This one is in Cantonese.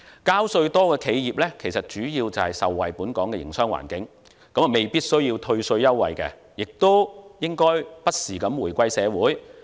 交稅多的企業其實主要受惠於本港的營商環境，未必需要退稅優惠，並應不時回饋社會。